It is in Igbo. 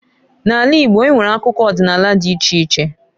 N'ala Igbo enwere akụkọ ọdịnala dị iche iche.